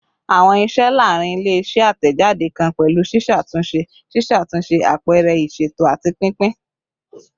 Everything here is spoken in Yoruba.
Awọn iṣẹ laarin ile-iṣẹ atẹjade kan pẹlu ṣiṣatunṣe, ṣiṣatunṣe, apẹrẹ iṣeto, ati pinpin